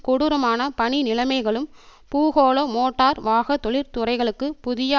கொடூரமான பணி நிலைமைகளும் பூகோள மோட்டார் வாக தொழிற்துறைகளுக்கு புதிய